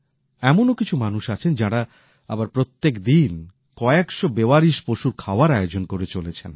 এমনও কিছু মানুষ আছেন যাঁরা আবার প্রত্যেকদিন কয়েক শো বেওয়ারিশ পশুর খাওয়ার আয়োজন করে চলেছেন